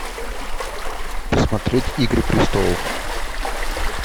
посмотреть игры престолов